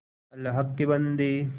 अल्लाह के बन्दे